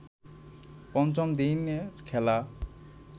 পঞ্চম দিনের খেলা